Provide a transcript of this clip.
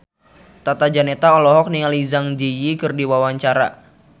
Tata Janeta olohok ningali Zang Zi Yi keur diwawancara